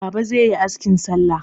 Baba zai yi askin salla.